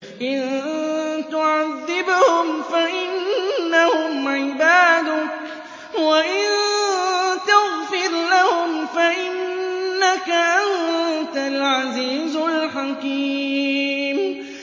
إِن تُعَذِّبْهُمْ فَإِنَّهُمْ عِبَادُكَ ۖ وَإِن تَغْفِرْ لَهُمْ فَإِنَّكَ أَنتَ الْعَزِيزُ الْحَكِيمُ